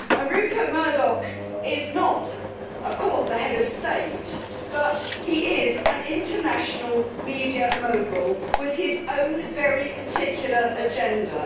Rupert Murdoch is not a Head of State but he is an international media mogul with his own very particular agenda.